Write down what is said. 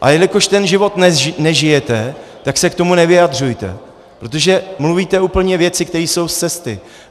A jelikož ten život nežijete, tak se k tomu nevyjadřujte, protože mluvíte úplně věci, které jsou z cesty.